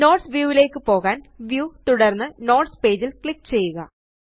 notes view യിലേയ്ക്ക് പോകാന് view തുടര്ന്ന് നോട്ട്സ് പേജ് ല് ക്ലിക്ക് ചെയ്യുക